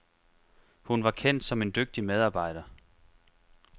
Hun var kendt som en dygtig medarbejder.